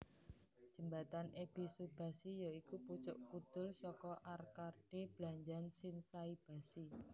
Jembatan Ebisubashi ya iku pucuk kudul saka arkade blanjan Shinsaibashi